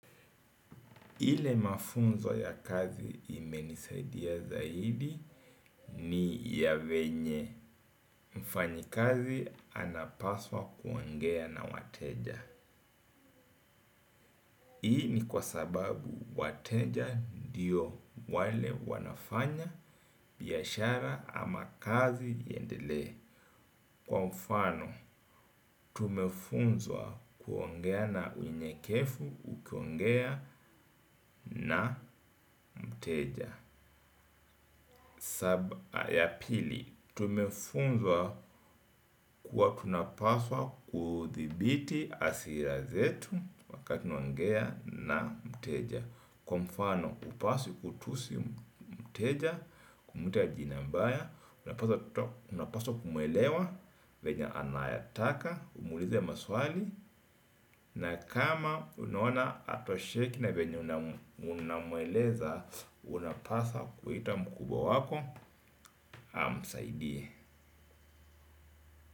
Ile mafunzo ya kazi imenisaidia zaidi ni ya venye. Mfanyikazi anapaswa kuongea na wateja. Hii ni kwa sababu wateja ndio wale wanafanya biashara ama kazi iendelee. Kwa ufano, tumefunzwa kuongea na unyenyekevu ukiongea na mteja. Sababu ya pili, tumefunzwa kuwa tunapaswa kuthibiti hasira zetu wakati unaongea na mteja. Kwa mfano hupaswi kutusi mteja, kumutia jina mbaya. Unapaswa kumuelewa, venye anayataka, umuulize maswali. Na kama unuona hatosheki na venye unamueleza unapaswa kuita mkubwa wako amsaidie.